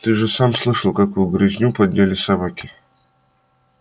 ты же сам слышал какую грызню подняли собаки